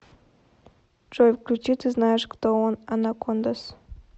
джой включи ты знаешь кто он анакондас